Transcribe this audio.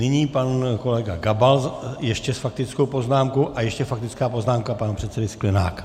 Nyní pan kolega Gabal ještě s faktickou poznámkou a ještě faktická poznámka pana předsedy Sklenáka.